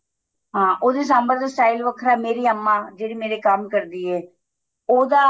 ਹਾਂ ਉਹਦੇ ਸਾਂਬਰ ਦਾ style ਵੱਖਰਾ ਮੇਰੀ ਅੰਮਾ ਜਿਹੜੀ ਮੇਰੇ ਕੰਮ ਕਰਦੀ ਏ ਉਹਦਾ